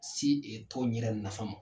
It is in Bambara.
Se tɔnw yɛrɛ nafa ma.